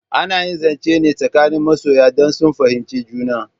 Ana yi zance ne tsakanin masoya dan sun fahimci juna